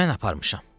Mən aparmışam.